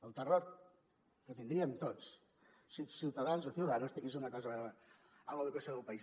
el terror que tindríem tots si ciutadans o ciudadanos tingués alguna cosa a veure amb l’educació del país